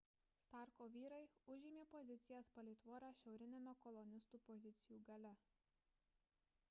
starko vyrai užėmė pozicijas palei tvorą šiauriniame kolonistų pozicijų gale